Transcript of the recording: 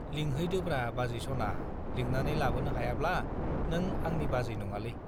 लिंहैदोब्रा बाजै सना , लिंनानै लाबोनो हायाब्ला नों आंनि बिबाजै नङालै ।